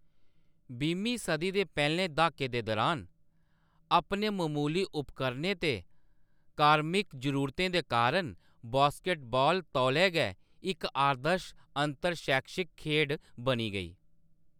बीहमीं सदी दे पैह्‌‌‌लें द्हाकें दे दुरान, अपने ममूली उपकरणें ते कार्मिक जरूरतें दे कारण बास्केटबाल तौले गै इक आदर्श अंतर-शैक्षिक खेढ बनी गेई।